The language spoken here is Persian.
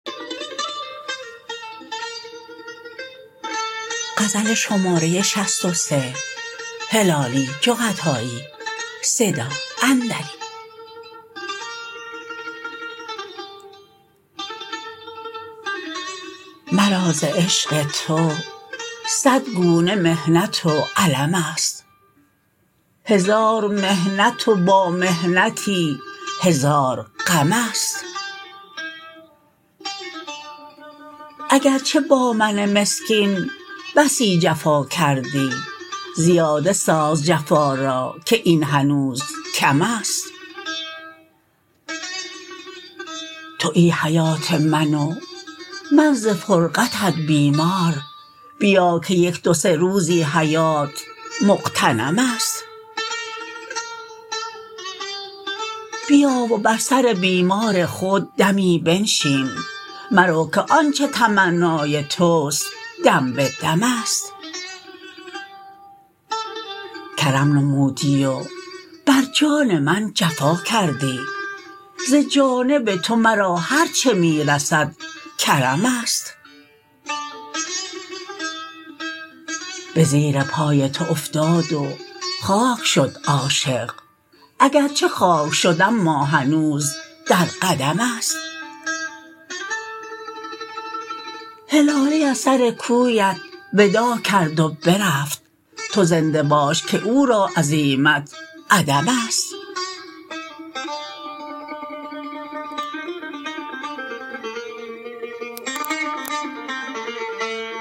مرا ز عشق تو صد گونه محنت و المست هزار محنت و با محنتی هزار غمست اگر چه با من مسکین بسی جفا کردی زیاده ساز جفا را که این هنوز کمست تویی حیات من و من ز فرقتت بیمار بیا که یک دو سه روزی حیات مغتنمست بیا و بر سر بیمار خود دمی بنشین مرو که آنچه تمنای تست دم بدمست کرم نمودی و بر جان من جفا کردی ز جانب تو مرا هر چه میرسد کرمست بزیر پای تو افتاد و خاک شد عاشق اگر چه خاک شد اما هنوز در قدمست هلالی از سر کویت وداع کرد و برفت تو زنده باش که او را عزیمت عدمست